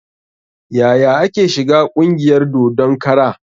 Yaya ake shiga ƙungiyar dodon kara?